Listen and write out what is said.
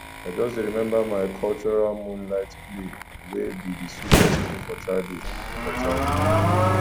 i just dey remember my cultural moonlight play wey be di sweetest ting for childhood for childhood